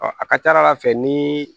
a ka ca ala fɛ ni